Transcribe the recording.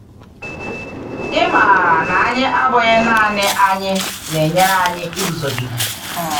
Ịmara na anyị abụghị naanị anyị na-enyere anyị iguzogide.